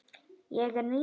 Ég er ný.